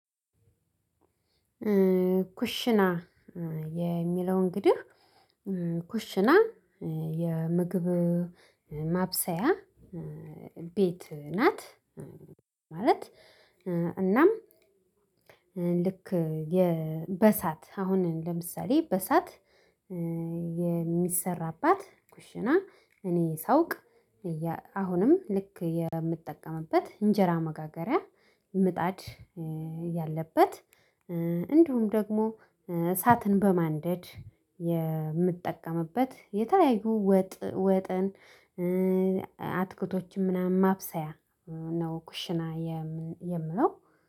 ኩሽና የሚለው እንግዲህ ኩሽና የምግብ ማብሰያ ቤት ናት። ማለት እናም ልክ የ በእሳት አሁን ለምሳሌ በእሳት የሚሰራባት ኩሽና እኔ ሳውቅ አሁንም ልክ የምጠቀምበት እንጀራ መጋገሪያ ምጣድ ያለበት እንዲሁም ደግሞ እሳትን በማንደድ የምጠቀምበት፣ የተለያዩ ወጥን አትክልቶችን ምናምን ማብሰያ ነው ኩሽና የምንለው።